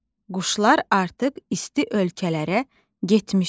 Quşlar artıq isti ölkələrə getmişdi.